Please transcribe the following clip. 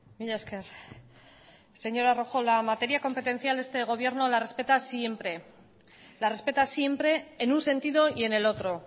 mila esker señora rojo la materia competencial este gobierno la respeta siempre la respeta siempre en un sentido y en el otro